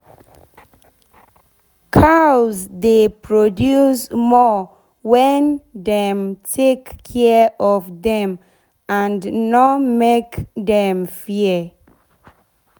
cows dey produce more wen dem take care of dem and nor make dem fear.